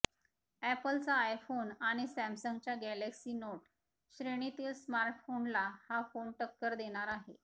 ऍपलचा iPhone आणि सॅमसंगच्या Galaxy Note श्रेणीतील स्मार्टफोनला हा फोन टक्कर देणार आहे